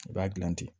I b'a dilan ten